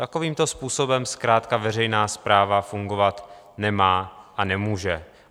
Takovýmto způsobem zkrátka veřejná správa fungovat nemá a nemůže.